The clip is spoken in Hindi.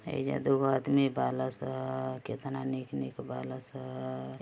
एहीजा दुगो आदमी बाला सं कितना निक-निक बाला सं।